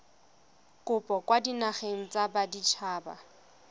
kopo kwa dinageng tsa baditshaba